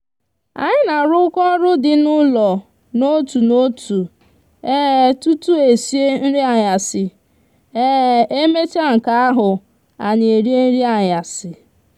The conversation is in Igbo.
anyi n'aruko oru di n'ulo n'otu n'otu tutu esie nri anyasi emecha nka ahu anyi erie nri anyasi